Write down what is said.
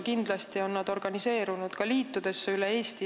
Kindlasti on nad ka organiseerunud liitudesse üle Eesti.